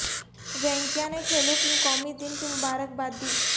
وینکئیا نے کھیلوں کی قومی دن کی مبارکباد دی